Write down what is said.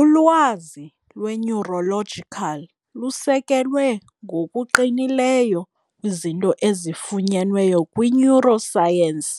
Ulwazi lwe-Neurological lusekelwe ngokuqinileyo kwizinto ezifunyenweyo kwi-neuroscience,